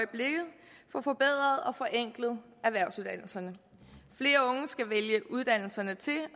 for forbedret og forenklet erhvervsuddannelserne flere unge skal vælge uddannelserne til